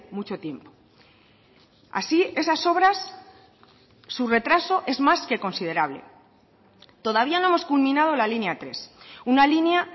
mucho tiempo así esas obras su retraso es más que considerable todavía no hemos culminado la línea tres una línea